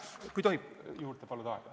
Kui tohib aega juurde paluda?